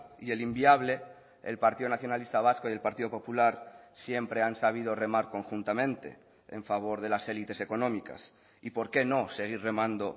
y el inviable el partido nacionalista vasco y el partido popular siempre han sabido remar conjuntamente en favor de las elites económicas y por qué no seguir remando